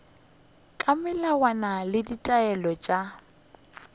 ka melawana le ditaelo tša